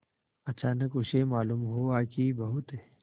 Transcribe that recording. अचानक उसे मालूम हुआ कि बहुत